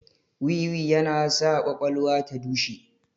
Wiwi yana sa kwakwalwa ta dushe